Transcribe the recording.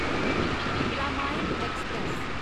Ramayan express